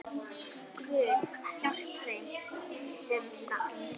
Guð, hjálpi þeim, sem stal!